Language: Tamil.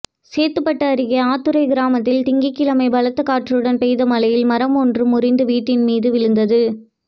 சேத்துப்பட்டு அருகே ஆத்துரை கிராமத்தில் திங்கள்கிழமை பலத்த காற்றுடன் பெய்த மழையில் மரம் ஒன்று முறிந்து வீட்டின் மீது விழுந்தது